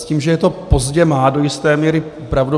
S tím, že je to pozdě, má do jisté míry pravdu.